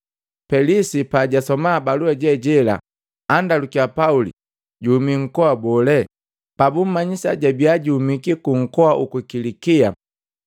Pelisi pajasoma balua je jela andalukiya Pauli juhumiki nkoa bole. Pabummanyisa jabia juhumiki ku nkoa uku Kilikia,